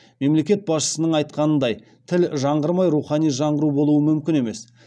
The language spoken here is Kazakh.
мемлекет басшысының айтқанындай тіл жаңғырмай рухани жаңғыру болуы мүмкін емес